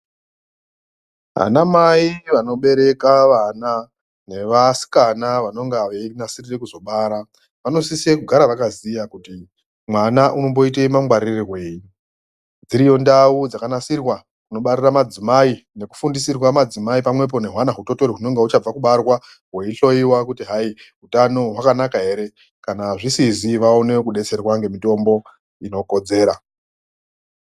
Ana mai vanobereka vana nevasikana vanonga veinasirire kuzobara vanosise kugara vakaziya kuti mwana unomboite mwangwararirweyi dziri ndau dzakanasirwa kunobarira madzimai nekufundisirwa madzimai pamwepo nehwana hutotori hunonga huchabva kubarwa hweihloyiwa kuti hai utano hwakanaka ere kana zvisizi vaone kudetserwa ngemitombo inokodzera.